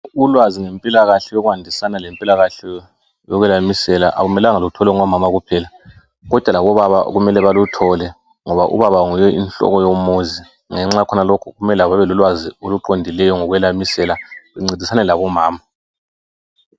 Ulwazi ngempilakahle yokwandisana lempilakahle yokwelamisela, akumelanga lutholwe ngomama kuphela kodwa labobaba kumele baluthole ngoba ubaba yinhloko yomuzi ngenxa yakhonalokhu kumele labo babe lolwazi oluqondileyo lokwelamisela bencedisana labomama.